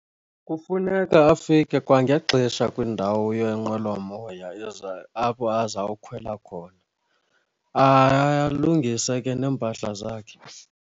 Kufuneka afike kwangexesha kwiindawo yeenqwelomoya apho azawukhwela khona, alungise ke neempahla zakhe.